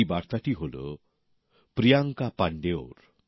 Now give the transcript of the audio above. এই বার্তাটি হল প্রিয়াঙ্কা পাণ্ডের